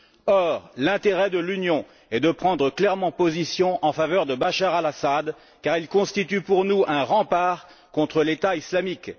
Or, l'intérêt de l'Union est de prendre clairement position en faveur de Bachar el Assad, car il constitue pour nous un rempart contre l'État islamique.